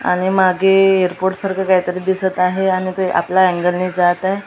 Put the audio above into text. आणि मागे एअरपोर्ट सारखं काहीतरी दिसत आहे आणि ते आपल्या एन्गलने जात आहे .